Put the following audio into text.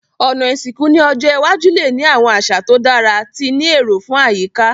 Òná ìsìnkú ni ọjọ́ iwájú le ni àwon àsà to dára ti ni éró fun àyíká